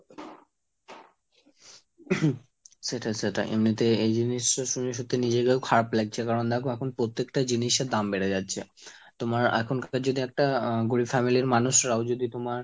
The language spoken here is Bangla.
সেটাই সেটাই, এমনিতেই এই জিনিসটা শুনে সত্যি নিজের ও খারাপ লাগছে। কারণ দেখো এখন প্রত্যেকটা জিনিসের দাম বেড়ে যাচ্ছে। তোমার এখন কার যদি একটা গোল family র মানুষরাও যদি তোমার